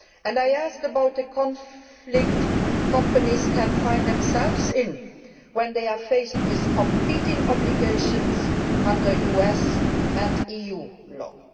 I asked about the conflict companies can find themselves in when they are faced with competing obligations under US and EU law.